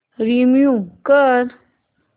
remove कर